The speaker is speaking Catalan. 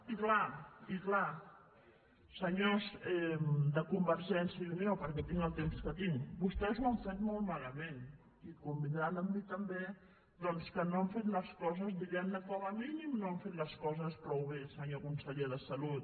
i és clar senyors de convergència i unió perquè tinc el temps que tinc vostès ho han fet molt malament i convindran amb mi també doncs que no han fet les coses diguem ne com a mínim no han fet les coses prou bé senyor conseller de salut